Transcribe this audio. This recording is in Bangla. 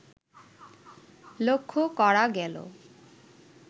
লক্ষ করা গেল